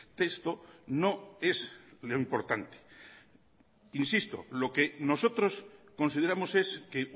texto no es lo importante insisto lo que nosotros consideramos es que